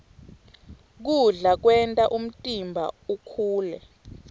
kudla kwenta umtimba ukhule